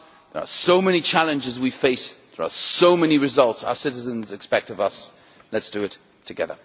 There are so many challenges we face and so many results our citizens expect of us let us do it together.